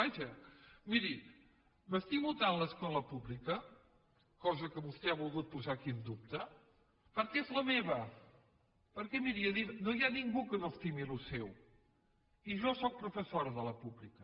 vaja miri m’estimo tant l’escola pública cosa que vostè ha volgut posar aquí en dubte perquè és la meva perquè miri no hi ha ningú que no estimi el que és seu i jo sóc professora de la pública